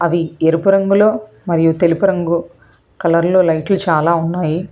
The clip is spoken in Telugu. అవి ఎరుపు రంగులో మరియు తెలుపు రంగు కలర్లు లైట్లు చాలా ఉన్నాయి.